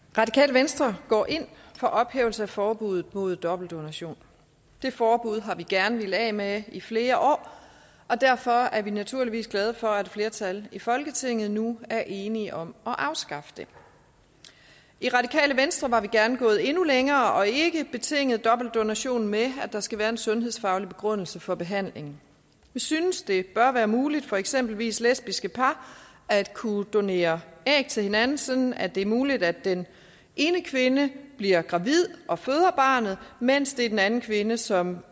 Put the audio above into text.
venstre går ind for ophævelse af forbuddet mod dobbeltdonation det forbud har vi gerne villet af med i flere år og derfor er vi naturligvis glade for at et flertal i folketinget nu er enige om at afskaffe det i radikale venstre var vi gerne gået endnu længere og ikke betinget dobbeltdonation med at der skal være en sundhedsfaglig begrundelse for behandling vi synes at det bør være muligt for eksempelvis lesbiske par at kunne donere æg til hinanden sådan at det er muligt at den ene kvinde bliver gravid og føder barnet mens det er den anden kvinde som